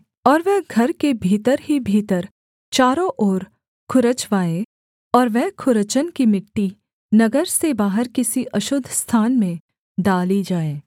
और वह घर के भीतर ही भीतर चारों ओर खुरचवाए और वह खुरचन की मिट्टी नगर से बाहर किसी अशुद्ध स्थान में डाली जाए